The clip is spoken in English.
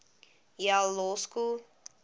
yale law school